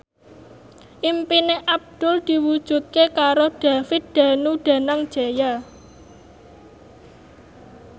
impine Abdul diwujudke karo David Danu Danangjaya